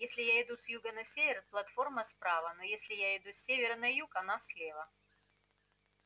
если я иду с юга на север платформа справа но если я иду с севера на юг она слева